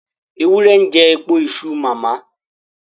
Ewúrẹ́ ń jẹ èpo iṣu màmá.